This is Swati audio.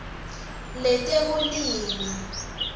letekulima